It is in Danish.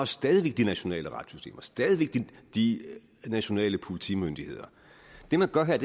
stadig væk de nationale retssystemer stadig væk de nationale politimyndigheder det man gør her er